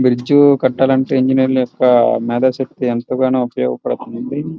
Bridge ని కట్టాలంటే ఇంజనీర్లు యొక్క మేధాశక్తి ఎంతగానో ఉపయోగపడుతుంది.